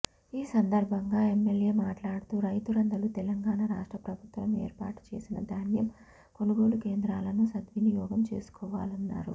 ఈ సందర్భంగా ఎమ్మెల్యే మాట్లాడుతూ రైతులందరూ తెలంగాణ రాష్ట్ర ప్రభుత్వం ఏర్పాటు చేసిన ధాన్యం కొనుగోలు కేంద్రాలను సద్వినియోగం చేసుకోవాలన్నారు